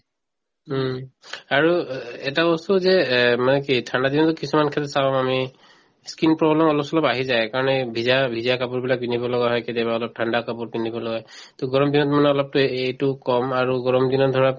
উম, আৰু অ এটা বস্তু যে এহ্ মানে কি ঠাণ্ডা দিনত কিছুমান ক্ষেত্ৰত চাওঁ আমি skin problem অলপ চলপ আহি যায় সেইকাৰণে ভিজা ভিজা কাপোৰ বিলাক পিন্ধিব লগা হয় কেতিয়াবা অলপ ঠাণ্ডা কাপোৰ পিন্ধিব লগা হয় to গৰম দিনত মানে অলপ এইটো কম আৰু গৰম দিনত ধৰক